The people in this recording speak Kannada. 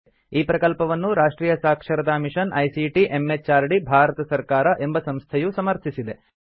ಈ ಪ್ರಕಲ್ಪವನ್ನು ರಾಷ್ಟ್ರಿಯ ಸಾಕ್ಷರತಾ ಮಿಷನ್ ಐಸಿಟಿ ಎಂಎಚಆರ್ಡಿ ಭಾರತ ಸರ್ಕಾರ ಎಂಬ ಸಂಸ್ಥೆಯು ಸಮರ್ಥಿಸಿದೆ